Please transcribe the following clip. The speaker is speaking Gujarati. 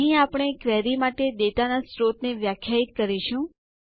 અહીં આપણે ક્વેરી માટે ડેટાનાં સ્રોત ને વ્યાખ્યાયિત કરીશું